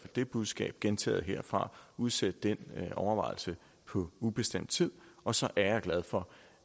det budskab gentaget herfra udsæt den overvejelse på ubestemt tid og så er jeg glad for